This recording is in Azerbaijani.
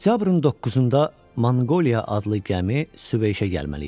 Oktyabrın 9-da Manqoliya adlı gəmi Süveyşə gəlməli idi.